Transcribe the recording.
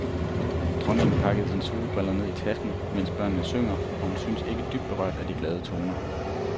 Dronningen pakker sine solbriller ned i tasken, mens børnene synger, og hun synes ikke dybt berørt af de glade toner.